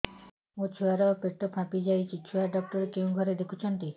ମୋ ଛୁଆ ର ପେଟ ଫାମ୍ପି ଯାଉଛି ଛୁଆ ଡକ୍ଟର କେଉଁ ଘରେ ଦେଖୁ ଛନ୍ତି